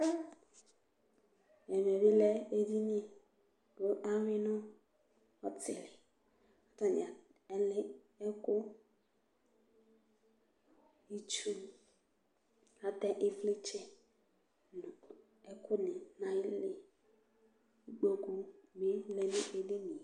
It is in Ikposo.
ɛmɛ bi lɛ edini kò awi no ɔtili k'atani alɛ ɛkò itsu atɛ ivlitsɛ no ɛkò ni n'ayili kò amago vi lɛ no edini yɛ